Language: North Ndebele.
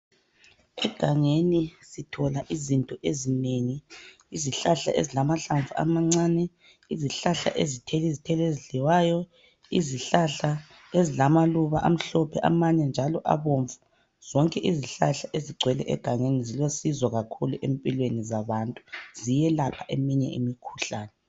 Egangeni sithola izinto ezinengi . Izihlahla ezilamahlamvu amancane , izihlahla ezithela izithelo ezidliwayo, izihlahla ezilamaluba amhlophe amanye njalo abomvu. Zonke izihlahla ezigcwele egangeni zilosizo kakhulu empilweni zabantu .Ziyelapha eminye imikhuhlane.